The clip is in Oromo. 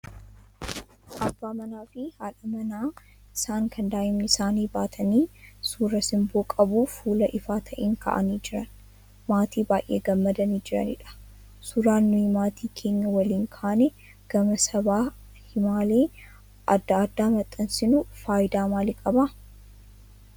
Abbaa manaa fi haadha warraa isaa kan daa'imman isaanii baatanii, suuraa simboo qabu fuula ifaa ta'een ka'anii jiran. Maatii baay'ee gammadanii jiranidha. Suuraan nuyi maatii keenya waliin kaanee gama sabaa himaalee adda addaan maxxansinu faayidaa maalii qaba?